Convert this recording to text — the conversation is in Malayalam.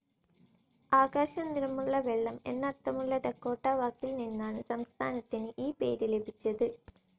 ആകാശ നിറമുള്ള വെള്ളം എന്നർത്ഥമുള്ള ഡക്കോട്ട വാക്കിൽ നിന്നാണ് സംസ്ഥാനത്തിന് ഈ പേര് ലഭിച്ചത്.